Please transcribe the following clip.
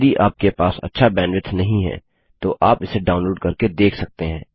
यदि आपके पास अच्छा बैंडविड्थ नहीं है तो आप इसे डाउनलोड करके देख सकते हैं